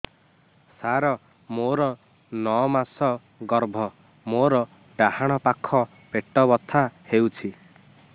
ସାର ମୋର ନଅ ମାସ ଗର୍ଭ ମୋର ଡାହାଣ ପାଖ ପେଟ ବଥା ହେଉଛି